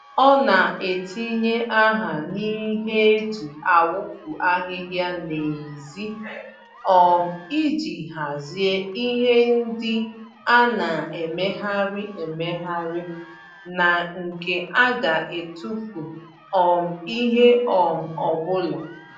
Ọ na-etinye aha n'ihe eji awufu ahịhịa n'ezi um iji hazie ihe ndị a na-emegharị emegharị ná nke a ga etufu um ìhè um ọbụla